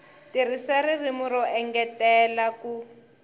tirhisa ririmi ro engetela ku